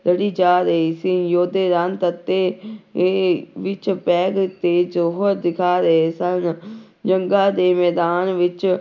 ਲੜੀ ਜਾ ਰਹੀ ਸੀ ਯੋਧੇ ਦੇ ਵਿੱਚ ਤੇ ਜੌਹਰ ਦਿਖਾ ਰਹੇ ਸਨ ਜੰਗਾਂ ਦੇ ਮੈਦਾਨ ਵਿੱਚ